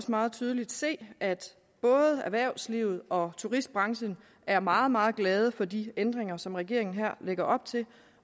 meget tydeligt se at både erhvervslivet og turistbranchen er meget meget glade for de ændringer som regeringen her lægger op til